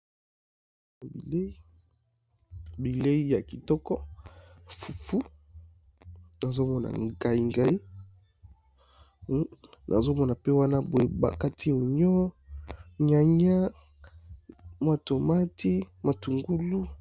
na bilei ya kitoko fufu nazomona ngai-ngai nazomona pe wana boye bakati onio nyania mwatomati matungulu